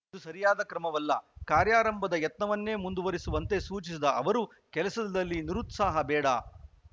ಇದು ಸರಿಯಾದ ಕ್ರಮವಲ್ಲ ಕಾರ್ಯಾರಂಭದ ಯತ್ನವನ್ನೇ ಮುಂದುವರಿಸುವಂತೆ ಸೂಚಿಸಿದ ಅವರು ಕೆಲಸದಲ್ಲಿ ನಿರುತ್ಸಾಹ ಬೇಡ